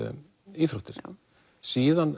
íþróttir síðan